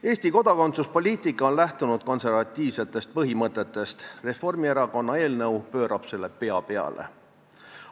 Eesti kodakondsuspoliitika on lähtunud konservatiivsetest põhimõtetest, Reformierakonna eelnõu pöörab selle pea peale.